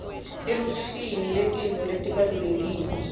eluhlwini lwetintfo letibalulekile